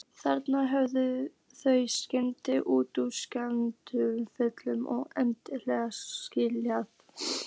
Þannig höfðu þau stefnt út í sársaukafullan og endanlegan aðskilnað.